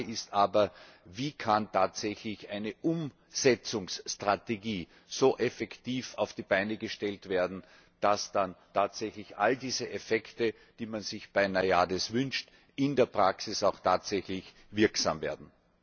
Die Frage ist aber Wie kann tatsächlich eine Umsetzungsstrategie so effektiv auf die Beine gestellt werden, dass dann tatsächlich all diese Effekte, die man sich bei NAIADES wünscht, in der Praxis auch tatsächlich wirksam werden?